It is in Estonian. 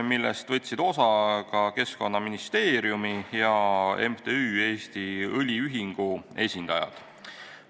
Istungist võtsid osa ka Keskkonnaministeeriumi ja MTÜ Eesti Õliühing esindajad.